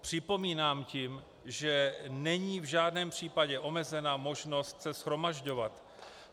Připomínám tím, že není v žádném případě omezena možnost se shromažďovat.